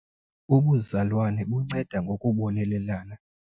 Ubuzalwane bunceda ngokubonelelana.